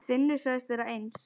Finnur sagðist vera eins.